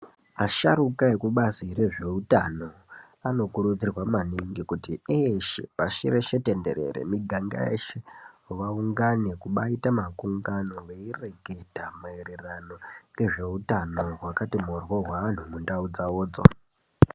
Vasharuka vekubazi rezveutano anokurudzirwa maningi kuti eeshe pashi reshe tenderere, miganga yeshe vaungane kuba aita makungano veireketa maererano ngezveutano hwakati mborwo hwevanhu mundau dzavodzo.